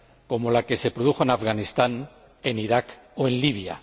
como la que se produjo en Afganistán, en Irak o en Libia.